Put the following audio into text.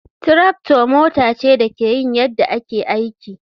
Tractor mota ce da ke yin yadda ake aiki.